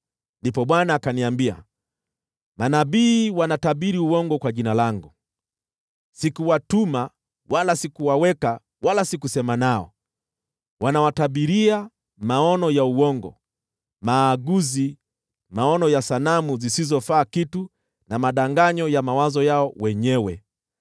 Ndipo Bwana akaniambia, “Manabii wanatabiri uongo kwa jina langu. Sikuwatuma, wala sikuwaweka, wala sikusema nao. Wanawatabiria maono ya uongo, maaguzi, maono ya sanamu zisizofaa kitu, na madanganyo ya mawazo yao wenyewe.